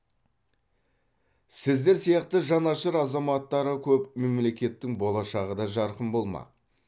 сіздер сияқты жанашыр азаматтары көп мемлекеттің болашағы да жарқын болмақ